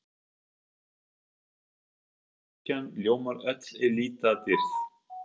að flatarmáli, svo kirkjan ljómar öll í litadýrð.